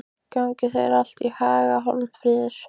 Gangi þér allt í haginn, Hjörfríður.